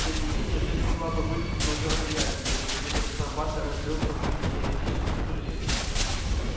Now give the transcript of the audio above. тем не менее жизнь могла бы быть много приятнее если бы капитан батлер отрёкся от своих еретических суждений